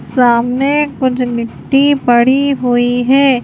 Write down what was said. सामने कुछ मिट्टी पड़ी हुई है।